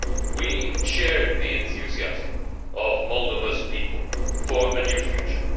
We shared the enthusiasm of Moldova's people for a new future.